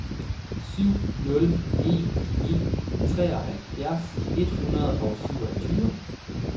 syv nul en ni treoghalvfjerds et hundrede og syvogtyve